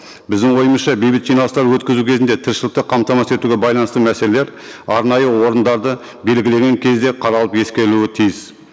біздің ойымызша бейбіт жиналыстар өткізу кезінде тіршілікті қамтамасыз етуге байланысты мәселелер арнайы орындарды белгілеген кезде қаралып ескерілуі тиіс